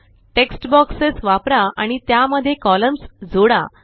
text boxes वापरा आणि त्यामध्ये कॉलम्स जोडा